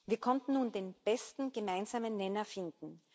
Wir konnten nun den besten gemeinsamen Nenner finden.